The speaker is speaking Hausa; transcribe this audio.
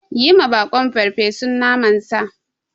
Yiwa baƙon farfesun naman sa.